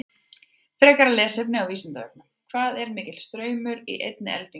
Frekara lesefni á Vísindavefnum: Hvað er mikill straumur í einni eldingu?